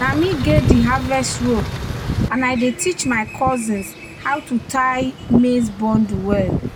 "na me get di harvest rope and i dey teach my cousins how to tie maize bundle well."